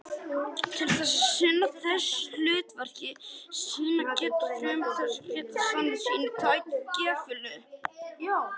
Til þess að sinna þessu hlutverki sínu geta frumurnar þanist út og stækkað gífurlega.